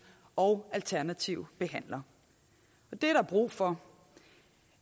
og alternative behandlere og det er der brug for